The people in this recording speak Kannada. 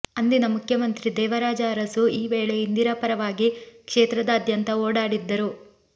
ಅಂದಿನ ಮುಖ್ಯಮಂತ್ರಿ ದೇವರಾಜ ಅರಸು ಈ ವೇಳೆ ಇಂದಿರಾ ಪರವಾಗಿ ಕ್ಷೇತ್ರದಾದ್ಯಂತ ಓಡಾಡಿ ದ್ದರು